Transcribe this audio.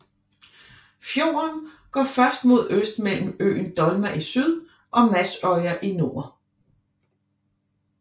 Fjorden går først mod øst mellem øen Dolma i syd og Madsøya i nord